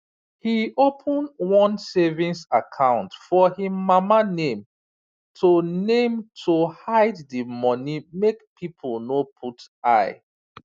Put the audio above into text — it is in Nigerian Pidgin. he open one savings account for him mama name to name to hide the money make people no put eye